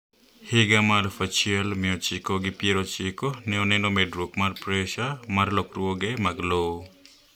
Higa ma afuf achiel mia ochiko gi piero ochiko ne oneno medruok mar pressure mar lokruoge mag lowo